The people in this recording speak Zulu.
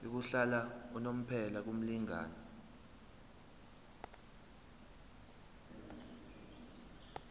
yokuhlala unomphela kumlingani